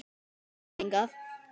Hvenær kom hann hingað?